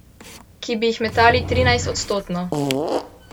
Ki bi jih metali trinajstodstotno.